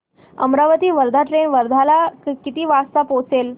Amravati Wardha train वर्ध्याला किती वाजता पोहचेल